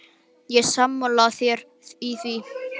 Ég er sammála þér í því.